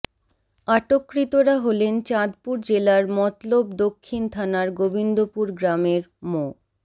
আটককৃতরা হলেন চাঁদপুর জেলার মতলব দক্ষিণ থানার গোবিন্দপুর গ্রামের মো